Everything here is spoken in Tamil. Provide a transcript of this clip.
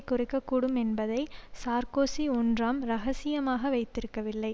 குறைக்கக்கூடும் என்பதை சார்க்கோசி ஒன்றாம் இரகசியமாக வைத்திருக்கவில்லை